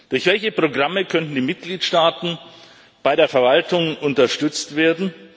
Durch welche Programme könnten die Mitgliedstaaten bei der Verwaltung unterstützt werden?